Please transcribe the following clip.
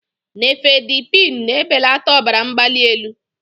Nifedipine na-ebelata ọbara mgbali elu.